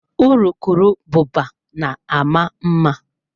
Urukurubụba na-ama mma.